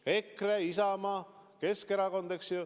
EKRE, Isamaa, Keskerakond.